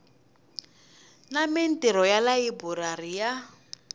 na mintirho ya layiburari ya